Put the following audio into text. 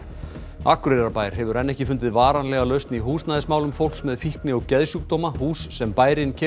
Akureyrarbær hefur enn ekki fundið varanlega lausn í húsnæðismálum fólks með fíkni og geðsjúkdóma hús sem bærinn keypti